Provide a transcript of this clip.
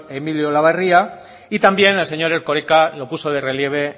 emilio olabarría y también el señor erkoreka lo puso de relieve